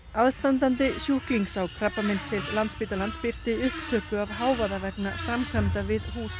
aðstandandi sjúklings á krabbameinsdeild Landspítalans birti upptöku af hávaða vegna framkvæmda við hús